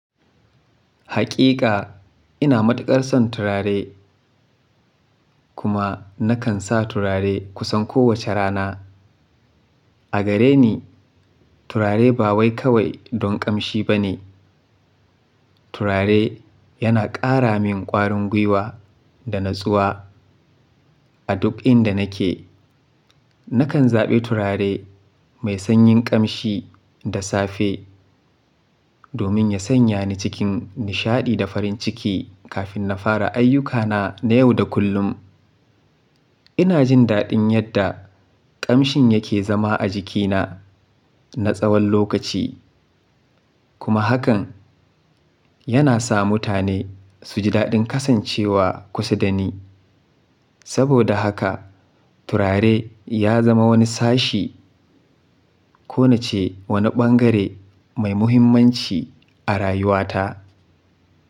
Hakika ina matuƙar son turare kuma nakan sa turare kusan kowace rana. A gare ni, turare ba wai kawai don ƙamshi ba ne. Turare yana ƙara min ƙwarin gwiwa da natsuwa. A duk inda nake, nakan zaɓi turare mai sanyin ƙamshi da safe domin ya sanya ni cikin nishaɗi da farin ciki kafin na fara ayyukana na yau da kullum. Ina jin daɗin yadda ƙamshin yake zama a jikina na tsawon lokaci kuma hakan yana sa mutane su ji daɗin kasancewa kusa da ni. Saboda haka turare ya zama wani sashi ko nace wani ɓangare mai muhimmanci a rayuwata.